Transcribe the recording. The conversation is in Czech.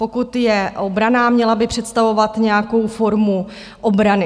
Pokud je obranná, měla by představovat nějakou formu obrany.